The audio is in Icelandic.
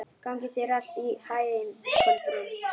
Gangi þér allt í haginn, Kolbrún.